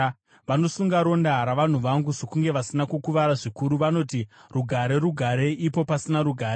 Vanosunga ronda ravanhu vangu sokunge vasina kukuvara zvikuru. Vanoti, ‘Rugare, rugare,’ ipo pasina rugare.